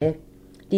DR1